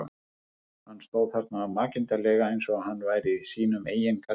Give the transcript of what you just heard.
Hann stóð þarna makindalega eins og hann væri í sínum eigin garði.